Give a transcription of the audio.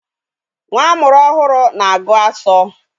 Nwa amụrụ ọhụrụ na-agu asọ.